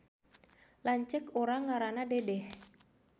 Lanceuk urang ngaranna Dedeh